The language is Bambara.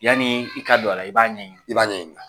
Yani i ka don a la i b'a ɲɛɲinin; i b'a ɲɛɲinin.